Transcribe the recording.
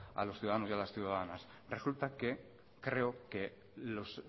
a los ciudadanos y las ciudadanas resulta que creo que los